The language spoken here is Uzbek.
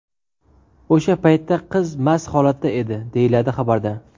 O‘sha paytda qiz mast holatda edi, deyiladi xabarda.